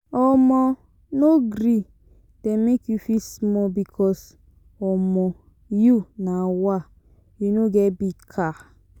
omo no gree dem make you feel small because omo you nawa you no get big car.